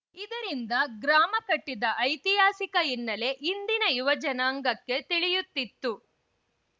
ಇದರಿಂದ ಗ್ರಾಮ ಕಟ್ಟಿದ ಐತಿಹಾಸಿಕ ಹಿನ್ನೆಲೆ ಇಂದಿನ ಯುವ ಜನಾಂಗಕ್ಕೆ ತಿಳಿಯುತ್ತಿತ್ತು